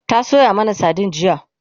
ta Sayo mana sardine jiya